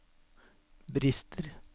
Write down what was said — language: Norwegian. brister